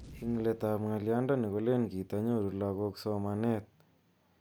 Ing let ap ngalyondoni kolen kitanyoru lagok somanet nekikikonu kopun panganutik ap emet anan sukul.